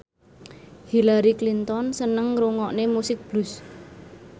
Hillary Clinton seneng ngrungokne musik blues